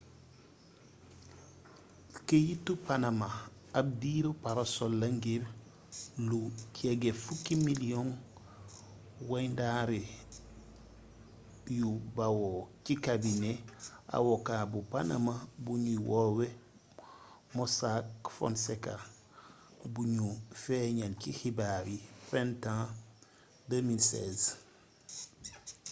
keyiti panama ab diiru parasol la ngir lu jege fukki miliyoŋi wayndare yu bawoo ci kabinet awoka bu panama buñuy woowee mossack fonseca buñu feeñal ci xibaar yi printemps 2016